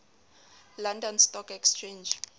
london stock exchange